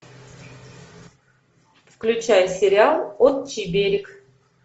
включай сериал отчий берег